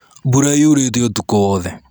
Mbura yurĩte ũtũku wothe.